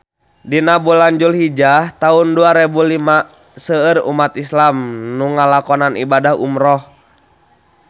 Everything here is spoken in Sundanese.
Dina bulan Dulhijah taun dua rebu lima seueur umat islam nu ngalakonan ibadah umrah